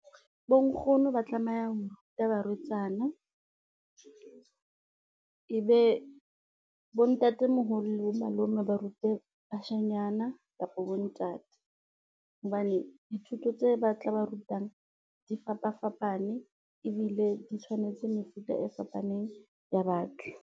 Bo nkgono ba tlameha ho ruta barwetsana ebe bo ntatemoholo bo malome, ba rute bashanyana kapa bontate, hobane dithuto tse ba tla ba rutang di fapafapane ebile di tshwanetse mefuta e fapaneng ya batho.